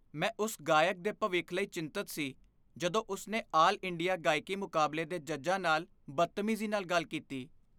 ਮੈਂ ਉਸ ਗਾਇਕ ਦੇ ਭਵਿੱਖ ਲਈ ਚਿੰਤਤ ਸੀ ਜਦੋਂ ਉਸ ਨੇ ਆਲ ਇੰਡੀਆ ਗਾਇਕੀ ਮੁਕਾਬਲੇ ਦੇ ਜੱਜਾਂ ਨਾਲ ਬਦਤਮੀਜੀ ਨਾਲ ਗੱਲ ਕੀਤੀ।